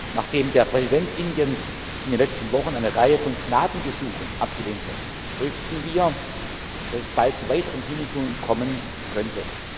Nachdem der Präsident Indiens in den letzten Wochen eine Reihe von Gnadengesuchen abgelehnt hat, fürchten wir, dass es bald zu weiteren Hinrichtungen kommen könnte.